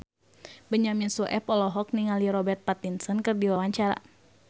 Benyamin Sueb olohok ningali Robert Pattinson keur diwawancara